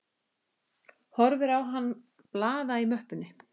Horfir á hann blaða í möppunni.